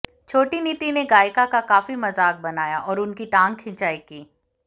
छोटी नीति ने गायिका का काफी मजाक बनाया और उनकी टांग खिंचाई की